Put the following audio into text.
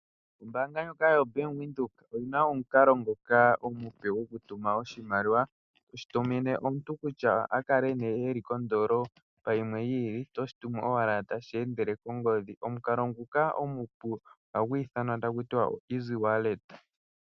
Ombaanga ndjoka yo bank Windhoek oyina omukalo ngoka omupe goku tuma oshimaliwa, toshi tumine omuntu kutya a kale nee eli koondolopa yimwe yi ili oto shi tumu owala tashi endele kongodhi. Omukalo nguka omupu ohagu ithanwa taku tiwa o easy wallet.